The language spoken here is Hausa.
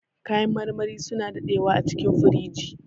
Kayan marmari suna daɗewa acikin firinji.